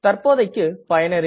தற்போதைக்கு பயனரின்